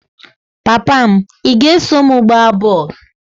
Papa m, ị ga-eso m gbaa bọl?